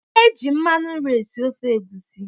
E ji mmanụ nri esi ofe egusi.